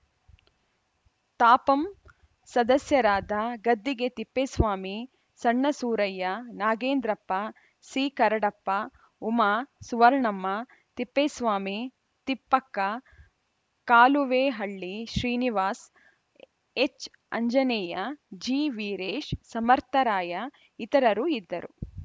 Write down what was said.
ತಾಪಂ ಸದಸ್ಯರಾದ ಗದ್ದಿಗೆ ತಿಪ್ಪೇಸ್ವಾಮಿ ಸಣ್ಣ ಸೂರಯ್ಯ ನಾಗೇಂದ್ರಪ್ಪ ಸಿಕರಡಪ್ಪ ಉಮಾ ಸುವರ್ಣಮ್ಮ ತಿಪ್ಪೇಸ್ವಾಮಿ ತಿಪ್ಪಕ್ಕ ಕಾಲುವೇಹಳ್ಳಿ ಶ್ರೀನಿವಾಸ್‌ ಎಚ್‌ಆಂಜನೇಯ ಜಿವೀರೇಶ್‌ ಸಮರ್ಥರಾಯ ಇತರರು ಇದ್ದರು